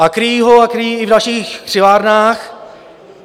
A kryjí ho a kryjí i v dalších křivárnách.